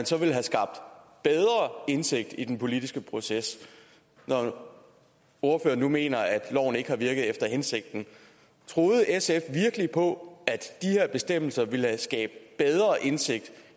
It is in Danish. så ville have skabt bedre indsigt i den politiske proces når ordføreren nu mener at loven ikke har virket efter hensigten troede sf virkelig på at bestemmelser ville skabe bedre indsigt